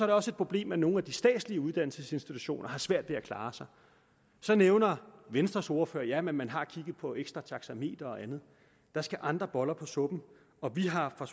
det også et problem at nogle af de statslige uddannelsesinstitutioner har svært ved at klare sig så nævner venstres ordfører at man har kigget på ekstra taxameter og andet der skal andre boller på suppen og vi har fra